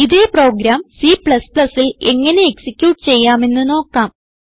ഇതേ പ്രോഗ്രാം Cൽ എങ്ങനെ എക്സിക്യൂട്ട് ചെയ്യാമെന്ന് നോക്കാം